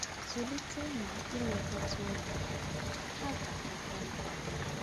Zụlite na ilekọta ụmụ gị, ha ga-agakwa nke ọma.